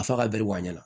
Fa ka bɛri wuguba